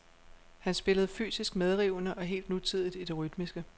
Han spillede fysisk medrivende og helt nutidigt i det rytmiske.